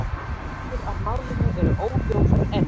Fréttir af málinu eru óljósar enn